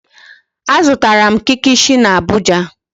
Azụtara m kikishi n'Abuja.